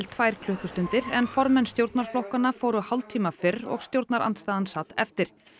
tvær klukkustundir en formenn stjórnarflokkanna fóru hálftíma fyrr og stjórnarandstaðan sat eftir